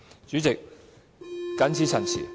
主席，謹此陳辭。